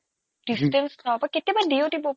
distance কেতিয়াবা দিও দিব